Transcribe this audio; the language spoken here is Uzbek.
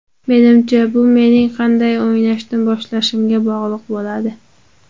Menimcha, bu mening qanday o‘ynashni boshlashimga bog‘liq bo‘ladi.